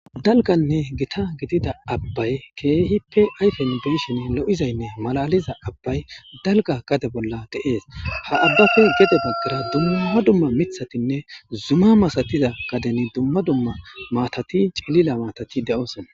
dalganne gita gidida abbay keehippe ayfen biishen lo7izaynne malaliza abbay dalga gade bolla de7ees ha abbafi gedo baggara dumma dumma mithatinne zuma masatiza kadeni dumma dumma maatati cilila maatati de7osona